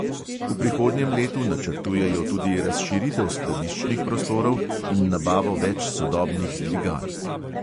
V prihodnjem letu načrtujejo tudi razširitev skladiščnih prostorov in nabavo več sodobnih dvigal.